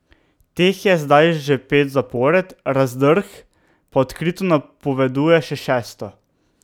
Teh je zdaj že pet zapored, Razdrh pa odkrito napoveduje še šesto.